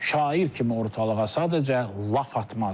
Şair kimi ortalığa sadəcə laf atmazdı.